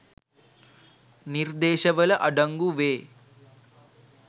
නිර්දේශවල අඩංගු වේ